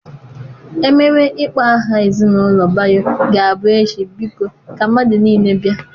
Ememe ịkpọ aha ezinụlọ Bayo ga-abụ echi biko ka mmadụ niile bịa.